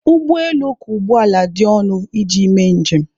Ụgbọ elu ka ụgbọ ala dị ọnụ iji mee njem.